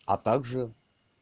а также